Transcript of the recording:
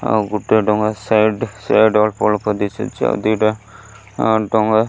ଆଉ ଗୋଟିଏ ଡଙ୍ଗା ସାଇଡ୍ ସାଇଡ୍ ଅଳ୍ପ ଅଳ୍ପ ଦିଶୁଛି ଆଉ ଦିଇଟା ଡଙ୍ଗା।